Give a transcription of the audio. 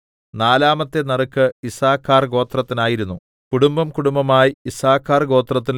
നാലാമത്തെ നറുക്ക് യിസ്സാഖാർ ഗോത്രത്തിനായിരുന്നു കുടുംബംകുടുംബമായി യിസ്സാഖാർ ഗോത്രത്തിന്